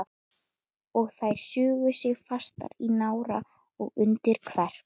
Og þær sugu sig fastar í nára og undir kverk.